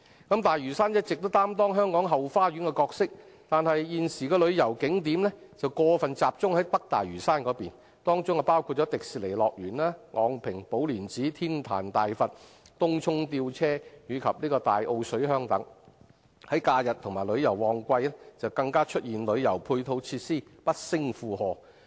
大嶼山一直擔當香港後花園的角色，但現時的旅遊景點過分集中在北大嶼山，當中包括迪士尼樂園、昂坪寶蓮寺和天壇大佛、東涌吊車及大澳水鄉等，假日及旅遊旺季時旅遊配套設施不勝負荷。